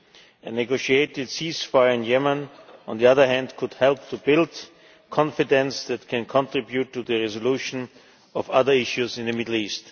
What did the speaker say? A negotiated ceasefire in Yemen, on the other hand, could help to build confidence that can contribute to the resolution of other issues in the Middle East.